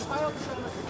Hazır olmaz.